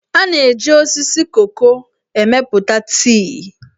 A na-eji osisi koko emepụta tii.